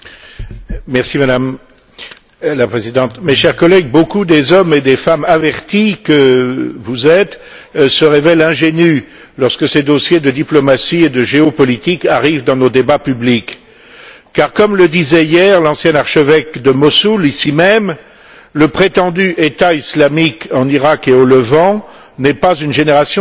Madame la Présidente, mes chers collègues, beaucoup des hommes et des femmes avertis que vous êtes se révèlent ingénus lorsque ces dossiers de diplomatie et de géopolitique arrivent dans nos débats publics car, comme le disait hier l'ancien archevêque de Mossoul, ici même, le prétendu État islamique en Iraq et au Levant n'est pas une génération spontanée